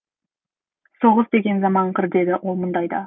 соғыс деген заманақыр дейді ол мұндайда